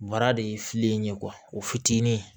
Bara de ye fili in ye o fitinin